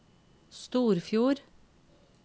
Storfjord